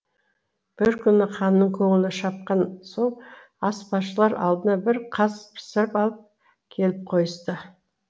бір күні ханның көңілі шапқан соң аспазшылар алдына бір қаз пісіріп алып келіп қойысты